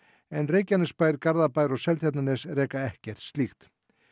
en Reykjanesbær Garðabær og Seltjarnarnes reka ekkert slíkt